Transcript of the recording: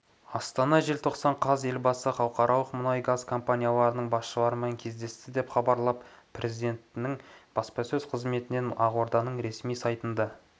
астана желтоқсан қаз елбасы халықаралық мұнай-газ компанияларының басшыларымен кездесті деп хабарлады президентінің баспасөзқызметінен ақорданың ресми сайтында